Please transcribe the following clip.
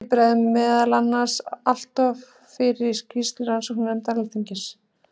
Því bregður meðal annars alloft fyrir í skýrslu rannsóknarnefndar Alþingis.